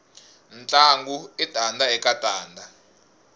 ntlangu i tanda eka tanda